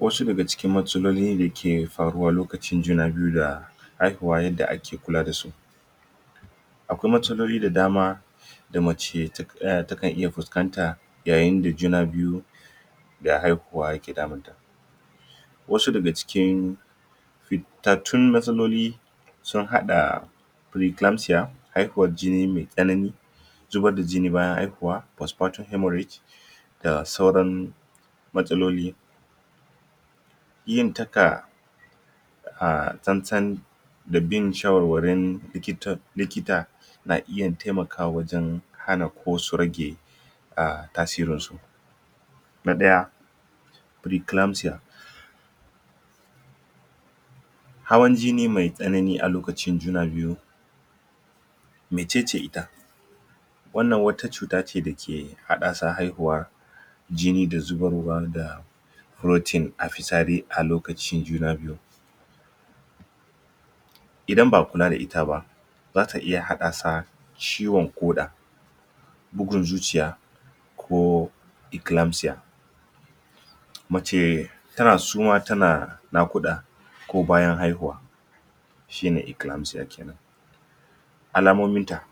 Wasu daga cikin matsaloli dake da faruwa a lokacin juna biyu da haihuwa yadda ake kula da su akwai matsaloli da dama da mace? takan iya fuskanta yayin da juna biyu da haihuwa yake damunta wasu daga cikin fitattun matsaloli sun haɗa? haihuwar jini mai tsanani zubar da jini bayan haihuwa postpartum hemorrhage da sauran matsaloli?? tsantsan da bin shawarwarin likita likita na iya taimakawa wajen hana ko su rage um tasirin su na ɗaya preeclampsia hawan jini mai tsanani a lokacin juna biyu mecece ita wannan wata cuta ce da ke haddasa haihuwa jini da zubar wa da protein a fitsari a lokacin juna biyu idan ba a kula da ita ba zata iya haddasa ciwon ƙoda bugun zuciya Ko eclampsia mace suma tana naƙuda ko bayan haihuwa shine eclampsa kenan alamominta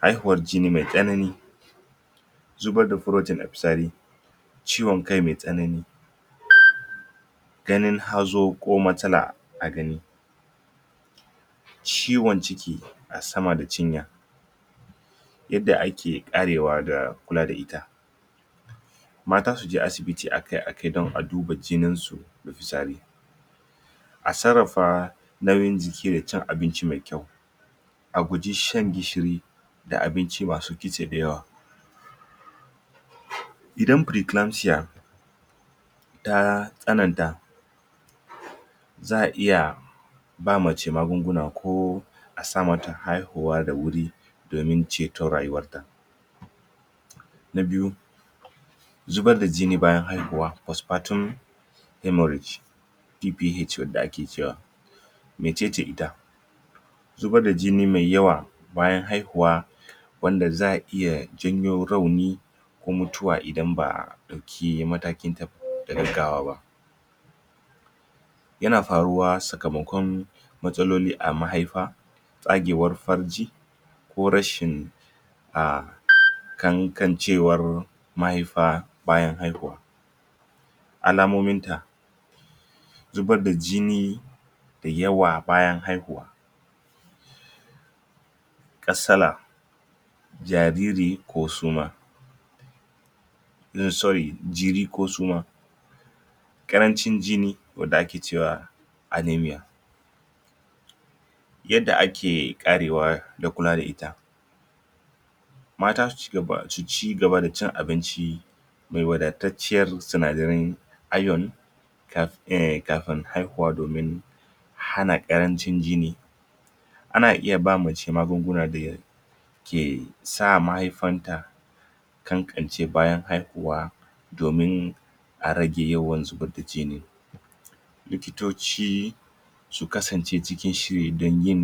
haihuwar jini mai tsanani zubar da protein a fitsari ciwon kai mai tsanani? ganin hazo ko matsala a gani ciwon ciki a sama da cinya yadda ake karewa da kula da ita mata su je asibiti a kai a kai don a duba jinin su da fitsari a sarrafa nauyin jiki da cin abinci mai kyau a guji shan gishiri ka abinci masu kitse dayawa idan preeclampsia ta tsananta za a iya ba mace magunguna ko a sa mata haihuwa da wuri domin ceto rayuwar ta na biyu zubar da jini bayan haihuwa postpartum hemorrhage PPH wanda ake wa mecece ita zubar da jini mai yawa bayan haihuwa wanda zai iya janyo rauni ko mutuwa idan ba a ɗauki mataki da gaggawa ba yana faruwa sakamakon matsaloli a mahaifa tsagewar farji ko rashin um? ƙanƙancewar mahaifa bayan haihuwa alamominta zubar da jini da yawa bayan haihuwa kasala jariri ko suma sorry jiri ko suma ƙaranci jini wanda ake cewa anameia yadda ake karewa da kula da ita mata su cigaba da cin abinci mai wadatacciyar sinadarin iron? kafin haihuwa domin hana ƙrarncin jini ana iya ba mace magununa da ke sa mahaifanta ƙanƙancewa bayan haihuwa domin a rage yawan zubar da jini likitoci su kasance cikin shiri don yin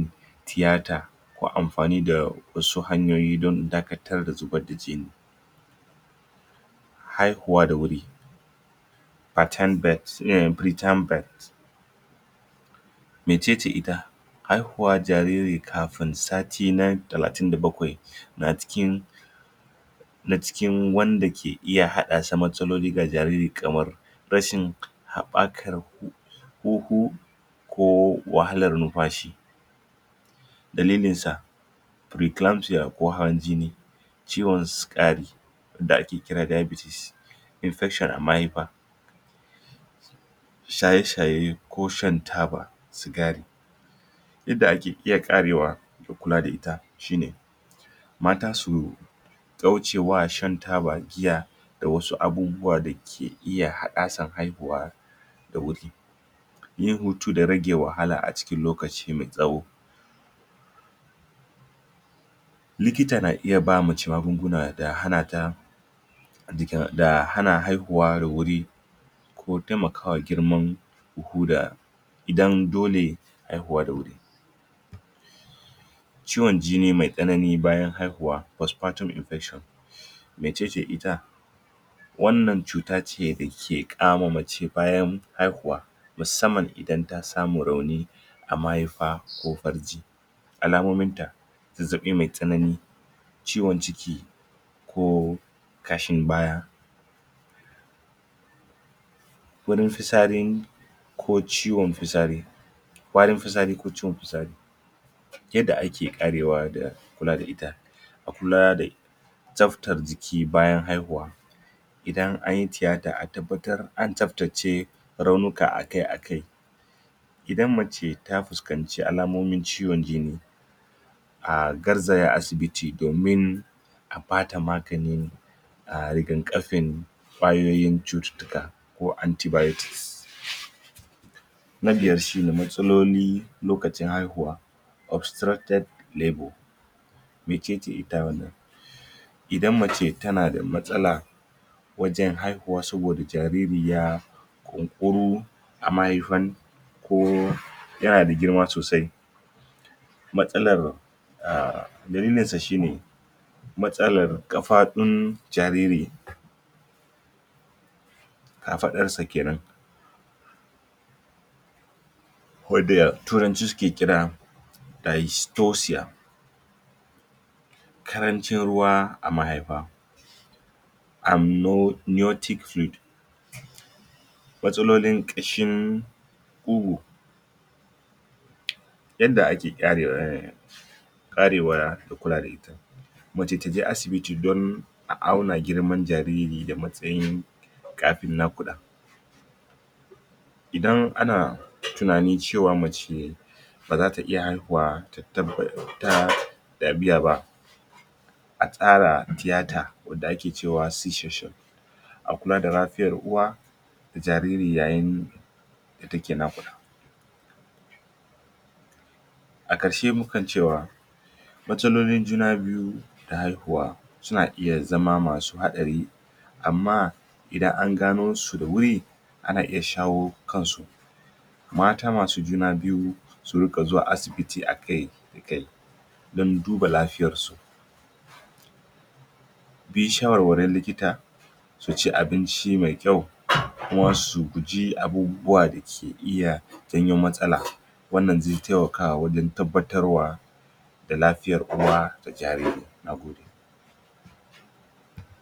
tiyata ko amfani da wasu hanyoyi don dakatar da zubar da jini haihuwa da wuri? pretime birth mecece ita haihuwar jariri kafin sati na talatin da bakwai na cikin na cikin wanda ke iya haddasa matsaloli ga jariri kamar rashin haɓakar huhu ko wahalar numfashi dalilinsa preeclapmsia ko hawan jini ciwon sukari wanda ake kira diabetes infection a mahaifa shaye-shaye ko shan taba sigari Yadda ake iya karewa kula da ita shine mata su kaucewa shan taba, giya da wasu abubuwa dake iya haddasa haihuwa da wuri yin hutu da rage wahala a cikin lokaci mai tsawo likita na iya mace magunguna da hana ta da hana haihuwa da wuri ko taimakawa girman huhu huhu da idan dole haihuwa da wuri ciwon jini mai tsanani bayan haihuwa postpsrtum infection mecece ita wannan cuta ce dake kama mace bayan haihuwa musamman idan ta samu rauni a mahaifa ko farji alamominta zazzaɓi mai tsanani ciwon ciki Ko ƙashin baya wurin fitsarin ko ciwon fitsari warin fitsari ko ciwon fitsari yadda ake karewa da kula da ita a kula da tsaftar jiki bayan haihuwa idan anyi tiyata a tabbatar an tsaftace raunuka a kai a kai idan mace ta fuskanci alamomin ciwon jini a garzaya asibiti domin a bata maganin raigafakin ƙwayoyin cututtuka ko antibiotics na biyar shine matsaloli lokacin haihuwa obstructed labor mecece ita wannan idan mace tana da matsala wajen haihuwa saboda jariri ya? a mahaifan da girma sosai matsalar? dalilinsa shine matsalar ƙafafun jariri kafaɗarsa kenan wanda a turanci ake kira? ƙarancin ruwa a mahaifa amniotic fluid watsalolin ƙashin ƙugu yanda ake? karewa da kula da ita mace taje asibiti don a auna girman jariri da matsayin kafin naƙuda idan ana tunani cewa mace baza ta iya haihuwa?? a tsara tiyata wanda ake cewa C-Section a kula da lafiyar uwa da jariri yayin da take naƙuda a ƙarshe muke cewa matsalolin juna biyu ta haihuwa suna iya zama masu haɗari amma idan an gano su da wuri ana iya shawo kansu mata masu juna biyu su riƙa zuwa asibiti a kai a kai don duba lafiyarsu bin shawarwarin likita su ci abinci mai kyau kuma su guji abubuwa da ke iya jawo matsala wannan zai taimaka wajen tabbatar wa da lafiyar uwa da jariri. Nagode